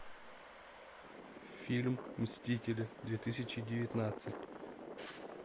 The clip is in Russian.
фильм мстители две тысячи девятнадцать